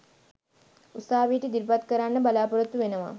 උසාවියට ඉදිරිපත් කරන්න බලාපොරොත්තු වෙනවා